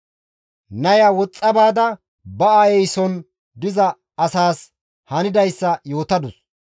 Naya woxxa baada, ba aayeyson diza asaas hanidayssa yootadus.